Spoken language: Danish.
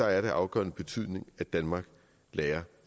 er af afgørende betydning at danmark lærer